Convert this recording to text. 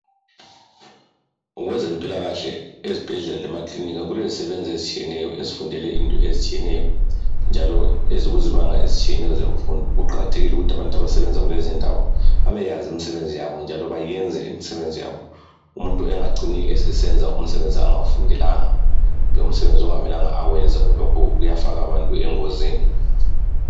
Ngokwezempilakahle ezibhedlela lemaclinika kulezisebenzi ezitshiyeneyo ezifundele izinto ezitshiyeneyo njalo ezikuzibanga ezitshiyeneyo zemfundo. Kuqakathekile ukuthi abantu abasebenza kulezindawo babe yazi imisebenzi yabo njalo bayenze imisebenzi yabo. Umuntu engacini esesenza umsebenzi angawufundelanga, kumbe umsebenzi okungamele awenze. Lokhu kuyafaka abantu engozini.